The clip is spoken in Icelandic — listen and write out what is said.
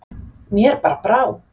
Mér bara brá.